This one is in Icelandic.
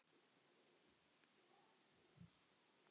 Hvað þarf helst að bæta?